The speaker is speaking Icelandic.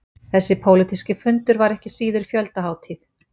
Þessi pólitíski fundur var ekki síður fjöldahátíð